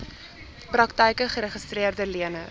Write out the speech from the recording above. praktyke geregistreede leners